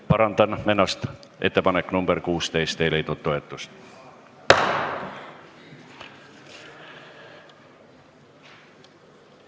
Parandan ennast: ettepanek nr 16 ei leidnud toetust.